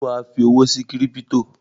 Ṣé wà á fi owó sí kírípítò?